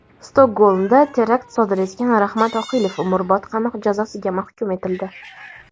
Stokgolmda terakt sodir etgan Rahmat Oqilov umrbod qamoq jazosiga mahkum etildi.